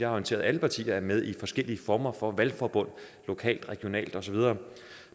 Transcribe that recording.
orienteret alle partier er med i forskellige former for valgforbund lokalt regionalt og så videre